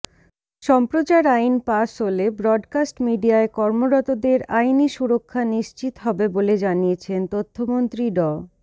সম্প্রচার আইন পাস হলে ব্রডকাস্ট মিডিয়ায় কর্মরতদের আইনি সুরক্ষা নিশ্চিত হবে বলে জানিয়েছেন তথ্যমন্ত্রী ড